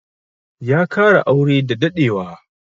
Ya kara aure da daɗewa.